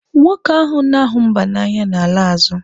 Nwoke ahụ na-ahụ mba n'anya na-ala azụ.